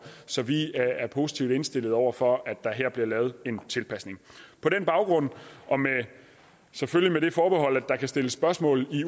så vi er er positivt indstillet over for at der her bliver lavet en tilpasning på den baggrund og selvfølgelig med det forbehold at der kan stilles spørgsmål